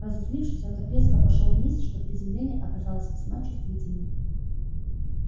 разозлившись он так резко пошёл вниз что приземление оказалось весьма чувствительным